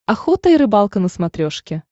охота и рыбалка на смотрешке